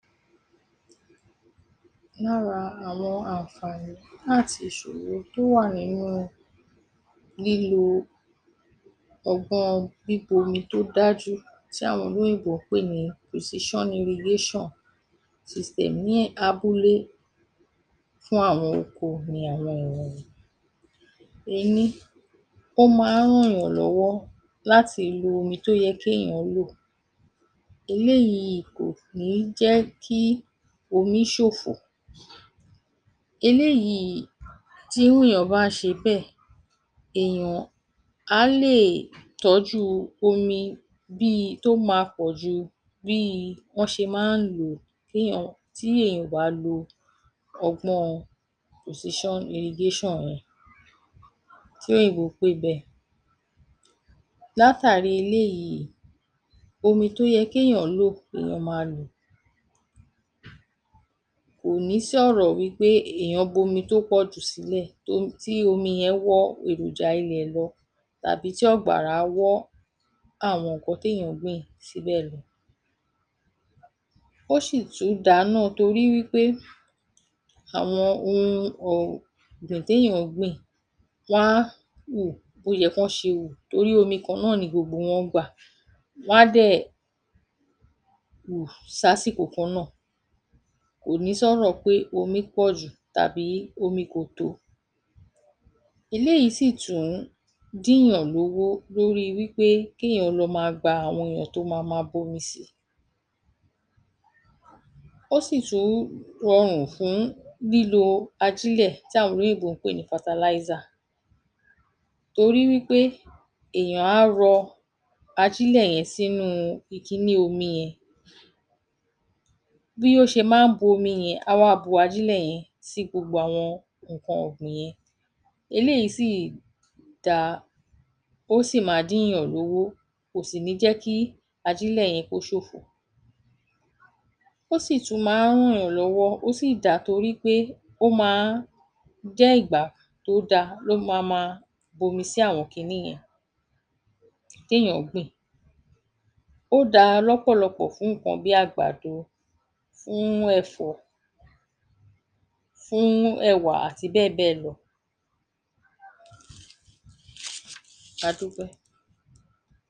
Lára àwọn ànfààní áti ìṣòro tó wà nínú lílo ọgbọ́n ọn bíbomi tó dájú tí àwọn olóyìnbó ń pè ní pòsíṣán irigéṣàn siistẹ̀m ní um abúlé fún àwọn oko ni àwọn wọ̀nyí: Ení: o máa ń rànyàn lọ́wọ́ láti lo omi tó yẹ kéyàn án lò. Eléyìí kò kín ń jẹ́ kí omi ṣòfò. Eléyìíí tí ènìyàn bá ṣe bẹ́ẹ̀, èèyàn á lè tọ́jú omi bíi tó máa pọ̀ ju bíi wọ́n ṣe máa ń lò ó kéyàn, tí èèyàn bá lo ọgbọ́n ọn pòsíṣán irigéṣàn yẹn, tí òìnbó pè bẹ́ẹ̀. Látàrí eléyìí, omi tó yẹ kéyàn án lò nìyán maa lò. Kò ní sí ọ̀rọ̀ wí pé èèyàn bomi tó pọ̀ jù sílẹ̀ um tí omi yẹn wọ́ èròjà ilẹ̀ lọ tàbí tí àgbàrá wọ́ àwọn nǹkan téyàn án gbìn síbẹ̀ lọ. Ó ṣì tún da náà torí pé àwọn ohun ọ̀...gbìn téyàn án gbìn wọ́n á wù bóyẹ kán ṣe wù torí omi kan náà ni gbogbo wọn gbà. Wọ́n á dẹ̀, wù sásìkò kan náà. Kò ní sọ́rọ̀ pé omi pọ̀jù tàbí omi kò tó. Eléyìí sì tún dìnyàn lówó lórí wí pé kéyàn lọ máa gba àwọn èèyàn tó mama bomi si. Ó sì tún rọrùn fún lílo ajílẹ̀ tí àwọn olóyìnbó ń pè ní fataláísà. Torí wí pé èèyàn á rọ ajílẹ̀ yẹn sínúú ikiní omi yẹn. Bí ó ṣe má ń bu omi yẹn á wá bu ajílẹ̀ yẹn sí gbogbo àwọn nǹkan ọ̀gbìn yẹn. Eléyìí sì dá ó sì ma díìnyàn lówó kò sì ní jẹ́ kí ajílẹ̀ yẹn kó ṣòfò. Ó sì tún má ń rànyàn lọ́wọ́ ó sì dá torí pé ó má ń jẹ́ ìgbà tó da ló mama bomi sí àwọn kiní yẹn, téyàn án gbìn. Ó daa lọ́pọ̀lọpọ̀ fún nǹkan bí àgbàdo, fúún ẹ̀fọ́, fúún àti bẹ́ẹ̀ bẹ́ẹ̀ lọ. A dúpẹ́.